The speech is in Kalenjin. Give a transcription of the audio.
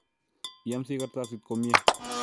Iyamsi kartasit komie